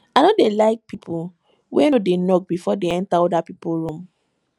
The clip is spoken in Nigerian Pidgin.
i no dey like pipo wey no dey knock before dem enta oda pipo room